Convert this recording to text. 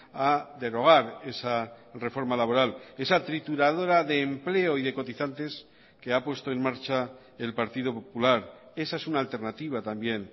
a derogar esa reforma laboral esa trituradora de empleo y de cotizantes que ha puesto en marcha el partido popular esa es una alternativa también